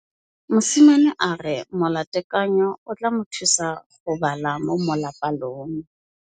Mosimane a re molatekanyô o tla mo thusa go bala mo molapalong.